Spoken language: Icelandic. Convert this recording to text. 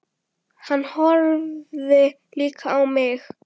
Hann horfði líka á mig.